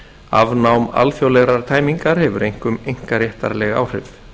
afnám alþjóðlegrar tæmingar hefur einkum einkaréttarleg áhrif